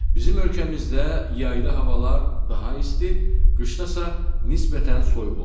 Bizim ölkəmizdə yayda havalar daha isti, qışda isə nisbətən soyuq olur.